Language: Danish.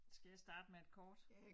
Skal jeg starte med et kort